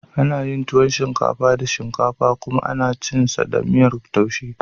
Ana yin tuwon shinkafa da shinkafa kuma ana cin sa da miyar taushe.